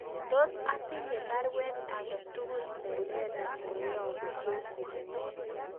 Tos atinye baruet age tugul nelelach neyobu Joshua